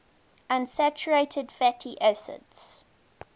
unsaturated fatty acids